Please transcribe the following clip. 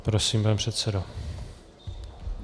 Prosím, pane předsedo.